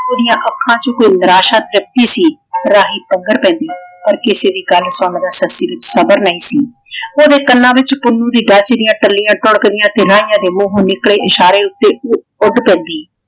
ਓਹਦੀਆਂ ਅੱਖਾਂ ਚ ਕੋਈ ਨਿਰਾਸ਼ਾ ਤ੍ਰਿਪਦੀ ਸੀ। ਰਾਹੀ ਅਗਰ ਪੈਂਦੀ ਪਰ ਕਿਸੇ ਦੀ ਗੱਲ ਸੁਣਨ ਦਾ ਸੱਸੀ ਵਿੱਚ ਸਬਰ ਨਹੀਂ ਸੀ। ਓਹਦੇ ਕੰਨਾਂ ਵਿੱਚ ਪੁੰਨੂੰ ਦੀ ਡਾਚੀ ਦੀਆਂ ਟੱਲੀਆਂ ਟੂਣਕਦੀਆਂ ਤੇ ਰਾਹੀਆਂ ਦੇ ਮੂੰਹੋ ਨਿਕਲੇ ਇਸ਼ਾਰੇ ਉੱਤੇ ਉਹ ਉੱਡ ਪੈਂਦੀ।